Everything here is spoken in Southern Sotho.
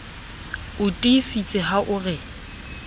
o tiisitse ha o re